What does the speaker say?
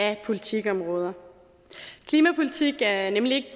af politikområder klimapolitik er nemlig